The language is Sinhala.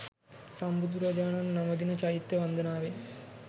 සම්බුදුරජාණන් නමදින චෛත්‍ය වන්දනාවෙන්